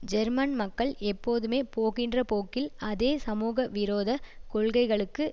German மக்கள் எப்போதுமே போகின்ற போக்கில் அதே சமூக விரோதக் கொள்கைகளுக்கு